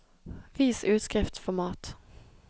Vis utskriftsformat